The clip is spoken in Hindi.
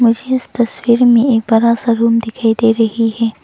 मुझे इस तस्वीर मे एक बड़ा सा रूम दिखाई दे रही है।